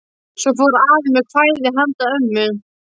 Svo fór afi með kvæði handa ömmu.